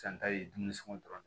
San ta ye dumuni sogo dɔrɔn de